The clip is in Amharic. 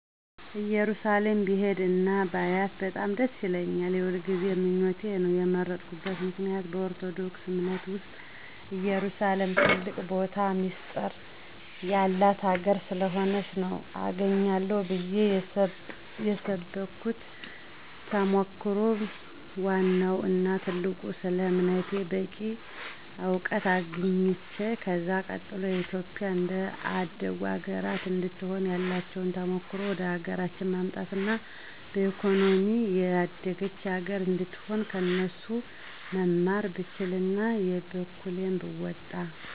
እየሩሳሌም ብሄድ እና ባያት በጣም ደስ ይለኛል። የሁልጊዜ ምኞቴ ነው። የመረጥኩበት ምክንያት በኦርቶዶክስ አምነት ዉስጥ ኢየሩሳሌም ትልቅ ቦታና ሚስጢር የላት ሀገር ስለሆነች ነው። አገኛለሁ ብየ የሰብኩት ተሞክሮ ወዋናው እና ትልቁ ስለ አምነቴ በቂ አዉቀት ማግኝት። ከዛ ቀጥሎ ኢትዮጵያም እንደ አደጉት ሀገራት እንድትሆን ያላቸዉን ተሞክሮ ወደሀገራችን ማምጣት አና በኢኮኖሚም የደገች ሀገር አነድትሆን ከነሱ መማር ብችል አና የበኩሌን ብወጣ።